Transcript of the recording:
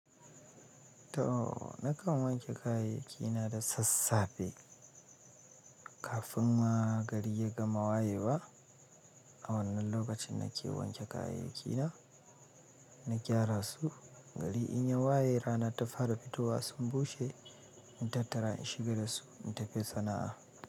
To! Nakan wanke kayayyaki na da sassafe kafin ma gari ya gama wayewa. A wannan lokacin nake wanke kayayyaki na, na gyara su. Gari in ya waye rana ta fara fitowa, sun bushe in tattara in shiga dasu in tafi sana'a.